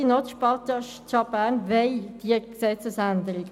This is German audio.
die Stadt Bern wollen diese Gesetzesänderung.